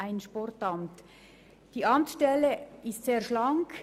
Die Amtsstelle ist sehr schlank.